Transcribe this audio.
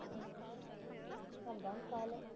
அதான் காலம்.